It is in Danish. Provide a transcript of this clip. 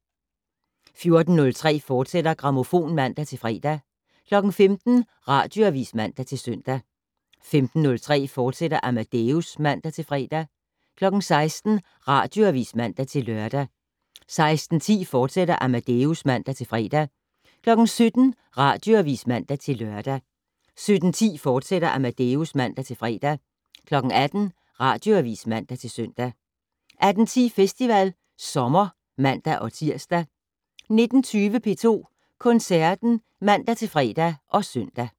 14:03: Grammofon, fortsat (man-fre) 15:00: Radioavis (man-søn) 15:03: Amadeus, fortsat (man-fre) 16:00: Radioavis (man-lør) 16:10: Amadeus, fortsat (man-fre) 17:00: Radioavis (man-lør) 17:10: Amadeus, fortsat (man-fre) 18:00: Radioavis (man-søn) 18:10: Festival Sommer (man-tir) 19:20: P2 Koncerten (man-fre og søn)